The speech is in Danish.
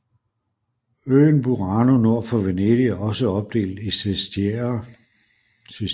Øen Burano nord for Venedig er også opdelt i sestieri